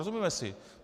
Rozumíme si?